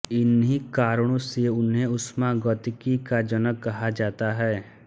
इन्ही कारणों से उन्हें ऊष्मागतिकी का जनक कहा जाता है